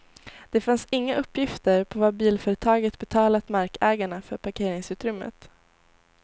Det fanns inga uppgifter på vad bilföretaget betalat markägarna för parkeringsutrymmet.